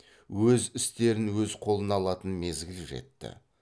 өз істерін өз қолына алатын мезгіл жетті